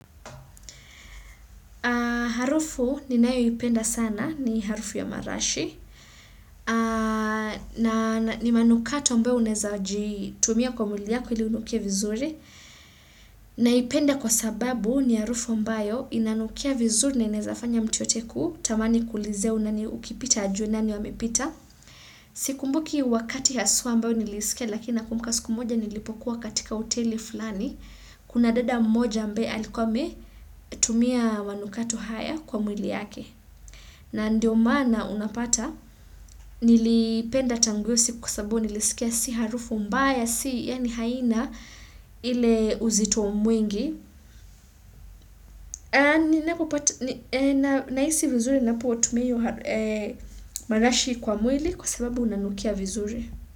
Haa harufu ni nayo ipenda sana ni harufu ya marashi na ni manukato ambayo unezaji tumia kwa mwili yako ili unukie vizuri na ipenda kwa sababu ni harufu ambayo inanukia vizuri na inezafanya mtu yote kutamani kuulizia na ni ukipita ajue nani huyo amepita. Sikumbuki wakati haswa ambayo nilisikia lakina nakumbuka siku moja nilipokuwa katika hoteli fulani kuna dada mmoja ambaye alikuwa ametumia manukato haya kwa mwili yake. Na ndio mana unapata, nilipenda tangu hio siku kwa sababu nilisikia si harufu mbaya, si yani haina, ile uzitomwingi. Nahisi vizuri napu otumeyo marashi kwa mwili kwa sababu nanukia vizuri.